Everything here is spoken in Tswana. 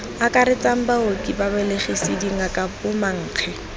akaretsang baoki babelegisi dingaka bomankge